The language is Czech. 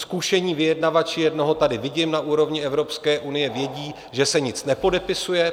Zkušení vyjednavači - jednoho tady vidím - na úrovni Evropské unie vědí, že se nic nepodepisuje.